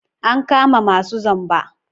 An kama masu zamba.